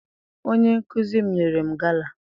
Onye nkụzi m nyere m gala.